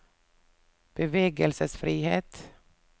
bevegelsesfrihet